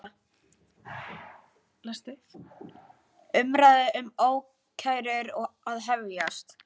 Umræða um ákærur að hefjast